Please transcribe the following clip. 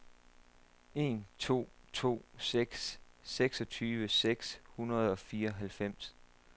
en to to seks seksogtyve seks hundrede og fireoghalvfems